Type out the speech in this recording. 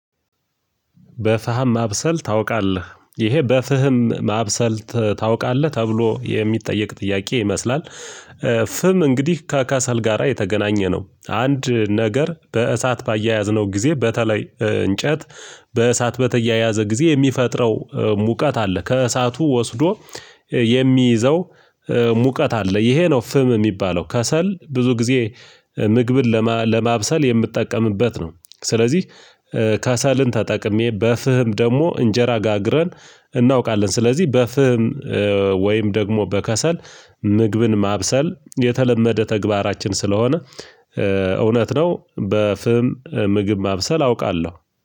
በፋህም ማብሰል ታውቃለህ ይሄ በፍህም ማብሰል ታውቃለህ ተብሎ የሚጠየቅ ጥያቄ ይመስላል? ፍም እንግዲህ ከከሰል ጋራ የተገናኘ ነው። አንድ ነገር በእሳት ባያያዝነው ጊዜ በተለይ እንጨት በእሳት በተያያዘ ጊዜ የሚፈጥረው ሙቀት አለ። ከእሳቱ ወስዶ የሚይዘው ሙቀት አለ። ይሄ ነው ፍም የሚባለው ከሰል ብዙ ጊዜ ምግብን ለማብሰል የምጠቀምበት ነው። ስለዚህ ከሰልን ተጠቅሜ በፍህም ደግሞ እንጀራ ጋግረን እናውቃለን ስለዚህ በፍህም ወይም ደግሞ በከሰል ምግብን ማብሰል የተለመደ ተግባራችን ስለሆነ እውነት ነው። በፍም ምግብ ማብሰል አውቃለሁ።